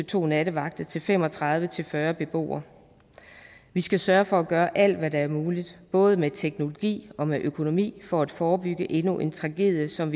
to nattevagter til fem og tredive til fyrre beboere vi skal sørge for at gøre alt hvad der er muligt både med teknologi og med økonomi for at forebygge endnu en tragedie som